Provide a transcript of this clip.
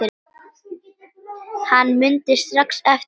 Hann mundi strax eftir mér.